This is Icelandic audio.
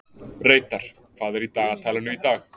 Reidar, hvað er í dagatalinu í dag?